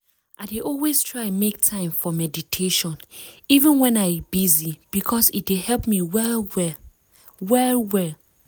i dey always try make time for meditation even wen i busy because e dey help me well well. well well.